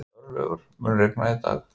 Örlygur, mun rigna í dag?